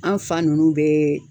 An fa ninnu bɛɛ.